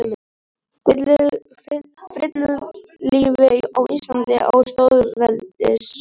Frillulífi á Íslandi á þjóðveldisöld.